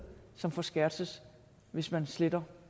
som forskertses hvis man sletter